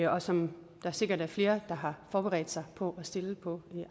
og som der sikkert er flere der har forberedt sig på at stille på